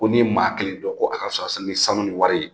Ko n'i ye maa kelen dɔn ko a ka fisa ni sanu ni wari ye